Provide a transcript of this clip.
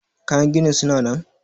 Kayan ginin suna nan?